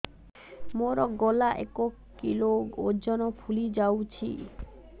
ମୋ ଗଳା ଏକ କିଲୋ ଓଜନ ଫୁଲି ଯାଉଛି